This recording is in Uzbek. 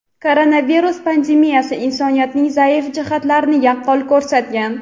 koronavirus pandemiyasi insoniyatning zaif jihatlarini yaqqol ko‘rsatgan.